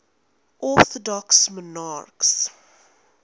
orthodox monarchs